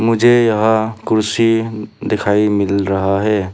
मुझे यहां कुर्सी दिखाई मिल रहा है।